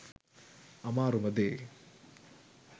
අමාරුම දේ